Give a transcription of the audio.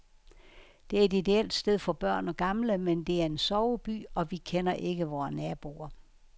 Det er et ideelt sted for børn og gamle, men det er en soveby, og vi kender ikke vore naboer.